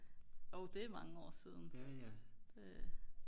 jo det er mange år siden det